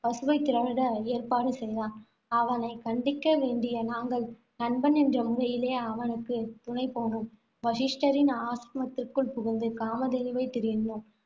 பசுவைத் திருட ஏற்பாடு செய்தான். அவனை கண்டிக்க வேண்டிய நாங்கள், நண்பன் என்ற முறையிலே அவனுக்கு துணை போனோம். வசிஷ்டரின் ஆசிரமத்துக்குள் புகுந்து, காமதேனுவைத் திருடினோம்.